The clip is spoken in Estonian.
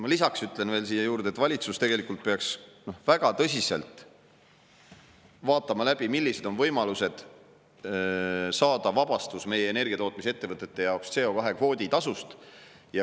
Ma lisaks ütlen siia juurde, et valitsus tegelikult peaks väga tõsiselt vaatama läbi, millised on võimalused saada meie energiatootmisettevõtete jaoks vabastus CO2-kvoodi tasust.